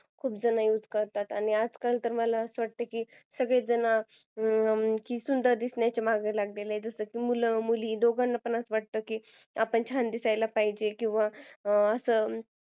खूप जण युज करतात आणि आजकाल तर मला असं वाटतं तर सगळेच जण की सुंदर दिसण्याच्या मागे लागलेले आहेत त्यात मुलं मुली दोघांनाही असं वाटतं की आपण छान दिसायला पाहिजे किंवा